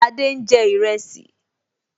Adé n jẹ ìrẹsì